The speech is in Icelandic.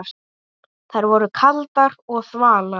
Þær voru kaldar og þvalar.